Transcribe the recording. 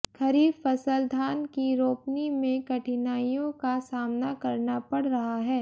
खरीफ फसल धान की रोपनी में कठिनाइयों का सामना करना पड़ रहा है